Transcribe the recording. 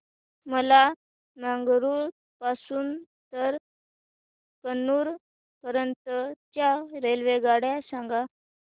मला मंगळुरू पासून तर कन्नूर पर्यंतच्या रेल्वेगाड्या सांगा